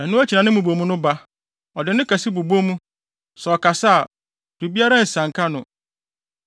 Ɛno akyi na ne mmubomu no ba; ɔde nne kɛse bobɔ mu. Sɛ ɔkasa a, biribiara nsianka no.